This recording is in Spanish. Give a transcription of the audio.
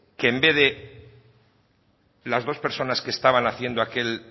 que en vez de las dos personas que estaban haciendo aquel